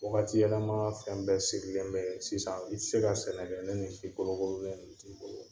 Wagati yɛlɛma fɛn bɛɛ siri bɛ sisan, i ti se ka sɛnɛ kɛ, ni nin sikoro sikorolen ninnu t'i bolo